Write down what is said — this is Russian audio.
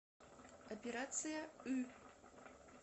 операция ы